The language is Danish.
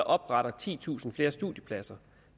oprette titusind flere studiepladser